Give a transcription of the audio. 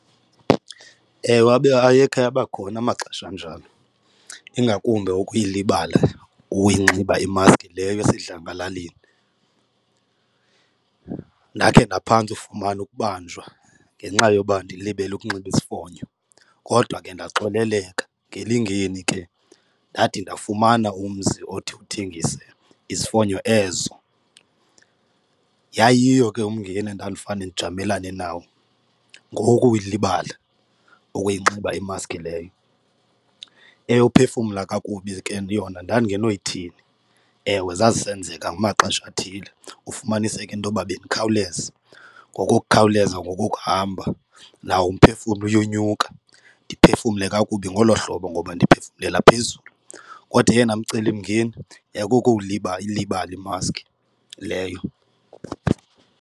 Ewe, abe ayekhe abakhona amaxesha anjalo ingakumbi ukuyilibala ukuyinxiba imaski leyo esidlangalaleni. Ndakhe ndaphantsi ufumana ukubanjwa ngenxa yoba ndilibele ukunxiba isifonyo, kodwa ke ndaxoleleka ngelingeni ke ndade ndafumana umzi othi uthengise izifonyo ezo. Yayiyiyo ke umngeni endandifane ndijamelene nawo, ngowokuyilibala ukuyinxiba imaski leyo. Eyophefumla kakubi ke yona ndandingenoyithini, ewe zazisenzeka ngamaxesha athile ufumaniseke intoba bendikhawuleza. Ngokokukhawuleza ngokokuhamba nawo umphefumlo uyonyuka, ndiphefumle kakubi ngolo hlobo ngoba ndiphefumlela phezulu. Kodwa oyena mcelimngeni yayikukuyilibala imaski leyo.